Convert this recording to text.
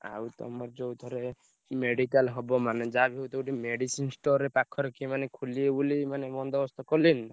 ଆଉ ତମର ଯୋଉ ଥରେ medical ହବ ମାନେ ଯାହା ବି ହଉ ତ ଗୋଟେ medicine store ପାଖରେ କିଏ ମାନେ ଖୋଲିବେ ବୋଲି ମାନେ ବନ୍ଦୋବସ୍ତ କଲେଣି?